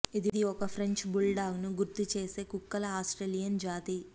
ఇది ఒక French bulldog ను గుర్తుచేసే కుక్కల ఆస్ట్రేలియన్ జాతి